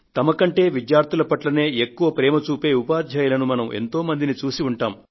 తమకంటే విద్యార్థుల పట్లనే ఎక్కువ ప్రేమ చూపే ఉపాధ్యాయులను మనం ఎంతో మందిని చూసి ఉంటాము